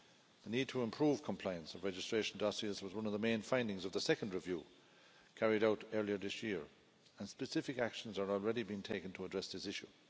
The need to improve compliance of registration dossiers was one of the main findings of the second review carried out earlier this year, and specific actions are already being taken to address this issue.